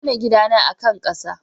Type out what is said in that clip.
An gina gidana a kan ƙasa.